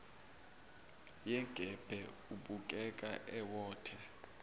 yengebhe ubukeka ewotha